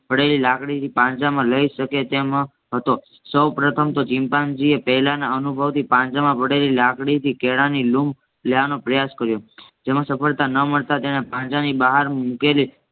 પડેલી લાકડીથી પાંજરામાં લાય શકે તેમ હતો. સૌ પ્રથમ તો ચિમ્પાન્જીએ પહેલાના અનુભવથી પાંજરામાં પડેલી લાકડી થી કેળાની લૂમ લેવાનો પ્રયાસ કર્યો જેમાં સફળતા ન મળતા તેને પાંજરાની બહાર મુકેલી